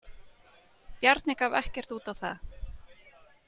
Bjarni gaf ekkert út á það.